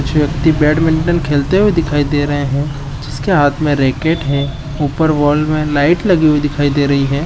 कुछ व्यक्ति बैडमिंटन खेलते हुए दिखाई दे रहे है जिसके हाथ में रैकेट है ऊपर वाल में लाइट लगी हुई दिखाई दे रही है।